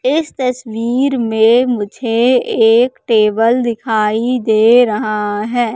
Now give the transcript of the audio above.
इस तस्वीर में मुझे एक टेबल दिखाई दे रहा है।